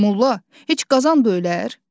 Molla, heç qazan da ölər?